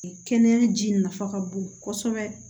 Kɛnɛya ji nafa ka bon kɔsɛbɛ